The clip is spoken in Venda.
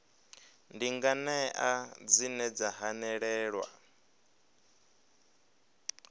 ndi nganea dzine dza hanelelwa